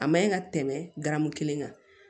A ma ɲi ka tɛmɛ garamu kelen kan